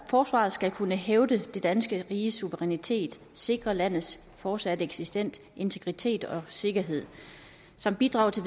forsvaret skal kunne hævde det danske riges suverænitet sikre landets fortsatte eksistens integritet og sikkerhed samt bidrage til